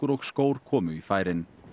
og skór komu í færin